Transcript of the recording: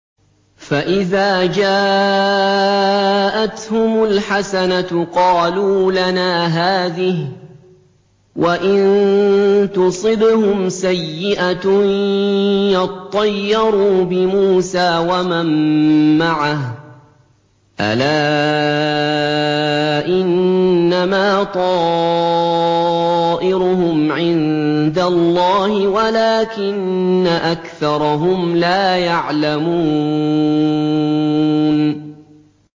فَإِذَا جَاءَتْهُمُ الْحَسَنَةُ قَالُوا لَنَا هَٰذِهِ ۖ وَإِن تُصِبْهُمْ سَيِّئَةٌ يَطَّيَّرُوا بِمُوسَىٰ وَمَن مَّعَهُ ۗ أَلَا إِنَّمَا طَائِرُهُمْ عِندَ اللَّهِ وَلَٰكِنَّ أَكْثَرَهُمْ لَا يَعْلَمُونَ